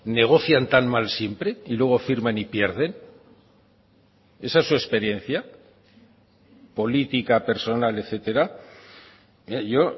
negocian tan mal siempre y luego firman y pierden esa es su experiencia política personal etcétera yo